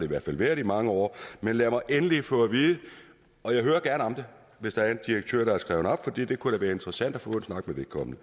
hvert fald været i mange år men lad mig endelig få at vide hvis der er en direktør der er skrevet op for det kunne da være interessant at få en snak med vedkommende